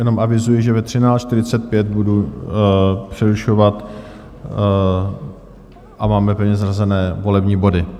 Jenom avizuji, že ve 13.45 budu přerušovat a máme pevně zařazené volební body.